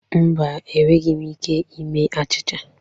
Mba, enweghị m ike ime achịcha.